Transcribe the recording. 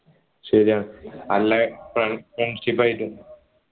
ശരിയാണ് നല്ല friendship ആയിട്ട്